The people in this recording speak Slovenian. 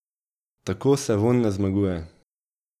Tako se vojn ne zmaguje.